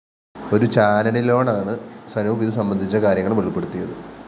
ഒരു ചാനലിനോടാണ് സനൂപ് ഇതു സംബന്ധിച്ച കാര്യങ്ങള്‍ വെളിപ്പെടുത്തിയത്